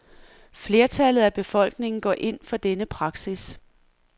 Flertallet af befolkningen går ind for denne praksis.